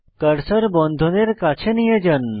cursor বন্ধনের কাছে নিয়ে যান